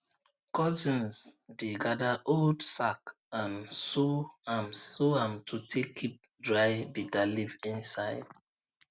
cousins dey gather old sack and sew am sew am to take keep dry bitterleaf inside